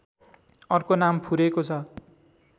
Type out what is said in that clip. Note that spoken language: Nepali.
अर्को नाम फुरेको छ